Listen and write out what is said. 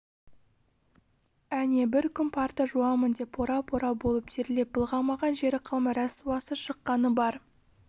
әне бір күні парта жуамын деп пора-пора болып терлеп былғамаған жері қалмай рәсуасы шыққаны бар